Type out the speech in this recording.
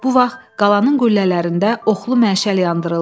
Bu vaxt qalanın qüllələrində oxlu məşəl yandırıldı.